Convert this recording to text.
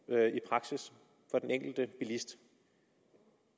for den enkelte bilist